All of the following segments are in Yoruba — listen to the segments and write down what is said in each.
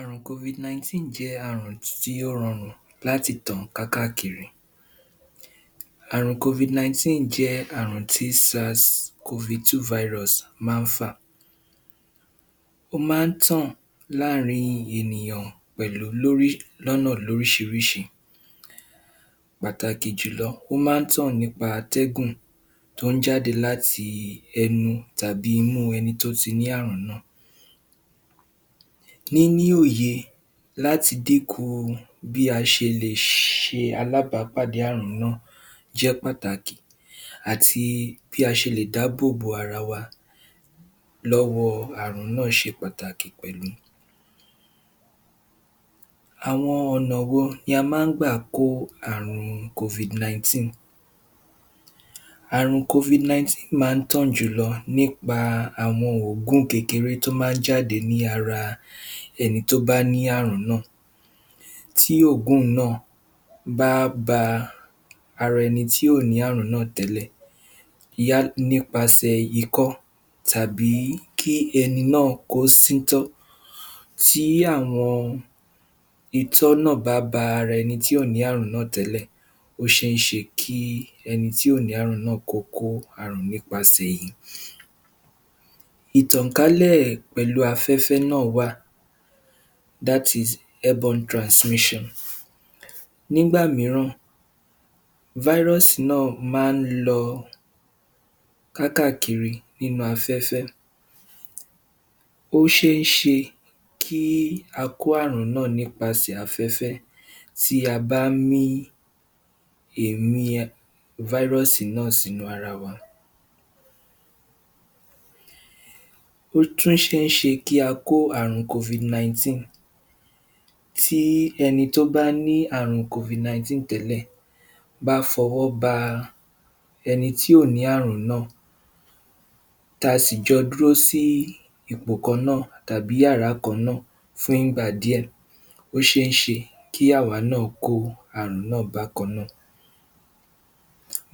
Àrùn covid 19 jẹ́ àrùn tí ó rọrùn láti tàn kákákiri, àrùn covid 19 jẹ́ àrùn tí sars covid 2 virus má fà, ó má tàn láàrín ènìyàn pẹ̀lú lórí lónà lórísírísi, pàtàkì jùlọ ó má tàn nípa atẹ́gùn tó jáde láti ẹnu tàbí imú ẹni tó ti ní àrùn náà, níní òye láti díkù bí a ṣe lè ṣe a lá bá pàdé àrùn náà jẹ́ pàtàkì àti bí a ṣe dábòbò ara wa lọ́wọ́ àrùn náà ṣe pàtàkì pẹ̀lú, àwọn ọ̀nà wo la má gbà kó àrùn covid 19, àrùn covid19 má tàn jùlọ nípa àwọn òógún kékeré tó má jáde ní ara ẹni tó bá ní àrùn náà tí òógùn náà bá ba ara ẹni tí kò ní àrùn náà tẹ́lẹ̀ yá nípaṣè ikọ́ tàbí kí ẹni náà kó síntọ́, tí àwọn itọ́ náà bá ba ara ẹni tí kò ní àrùn náà tẹ́lẹ̀ ó ṣé ṣe kí ẹni tí ò ní àrùn náà kóní àrùn náà nípasè èyí, ìtànkálẹ̀ pẹ̀lú afẹ́fẹ́ náà wà, that is airborne transmission. Nígbà míràn vírùsì náà má lo kákàkiri nínú afẹ́fẹ́ ó ṣé ṣe kí a kó àrùn náà nípasè afẹ́fẹ́ tí a bá mí èémí várọ́sì náà sí inú ara wa, ó tún ṣeéṣe kí á kó àrùn covid 19 tí ẹni tó bá ní àrùn covid 19 bá fọwọ́ ba ẹni tí kò ní àrùn náà tí a sì jọ dúró sí ipò kan náà tàbí yàrà kan náà fún ìgbà díẹ̀ ó ṣé ṣẹ kí àwa náà kó àrùn náà bàkannáà,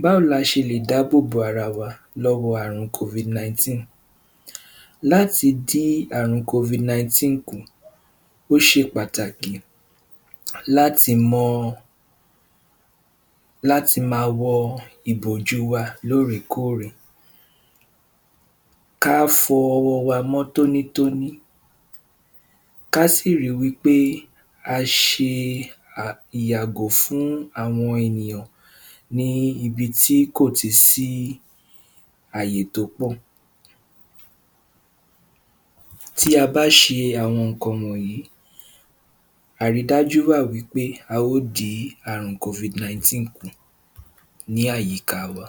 báwo ni a ṣe lè dábòbò ara wa lọ́wọ́ àrùn covid 19, láti dí àrùn covid 19 kù ó ṣe pàtàkì láti mọ, láti má wọ ìbòjú wa lórèkórè, ká fọ ọwọ́ wa mọ́ tónítọ́ní, ká sì ri wí pé a ṣe ìyàgò fún àwọn ènìyàn ní ibi tí kò ti sì àyè tó pọ̀, tí a bá ṣe àwọn ìkan wọ̀nyí, àrídájú wà wí pé a ó dí àrùn covid 19 kù ní àyíká wa.